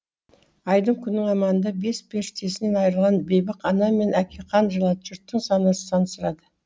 айдың күннің аманда бес періштесінен айырылған бейбақ ана мен әке қан жылады жұрттың сансы сансырады